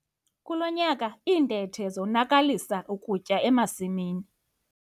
Kulo nyaka iintethe zonakalisa ukutya emasimini.